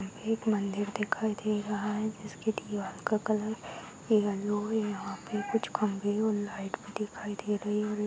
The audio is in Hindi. एक मन्दिर दिखाई दे रहा है जिसके दीवाल का कलर येल्लो है | यहाँ पे कुछ कमरे और लाइट भी दिखाई दे रही है |